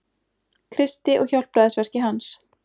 Kristi og hjálpræðisverki hans.